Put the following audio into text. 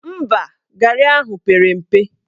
Mba, garị ahụ pere mpe